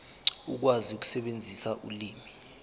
ukwazi ukusebenzisa ulimi